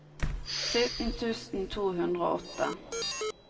sytten tusen to hundre og åtte